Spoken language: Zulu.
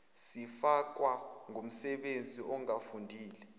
sifakwa ngumsebenzi ongafundile